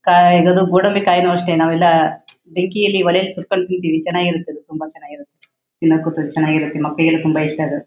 ಕಾಯಿ ಗೋಡಂಬಿ ಕಾಯಿನು ಅಷ್ಟೇ ನಾವೆಲ್ಲ ಬೆಂಕಿಯಲ್ಲಿ ಒಲೆಯಲ್ಲಿ ಸುಟ್ಕೊಂಡು ತಿನ್ತಿವಿ ಚೆನ್ನಾಗಿರುತ್ತೆ ಅದು ತುಂಬಾ ಚೆನ್ನಾಗಿರುತ್ತೆ. ತಿನ್ನೋಕ ಒಂತರ ಚೆನ್ನಾಗಿರುತ್ತೆ ಮಕ್ಕಳಿಗೆಲ್ಲಾ ತುಂಬಾ ಇಷ್ಟ ಅದು.